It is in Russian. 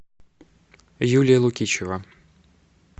юлия лукичева